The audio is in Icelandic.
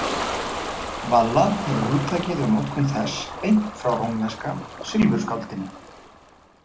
Valla hefur hugtakið og notkun þess beint frá rómverska silfurskáldinu.